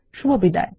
শুভবিদায়